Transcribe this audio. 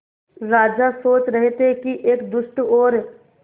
राजा सोच रहे थे कि एक दुष्ट और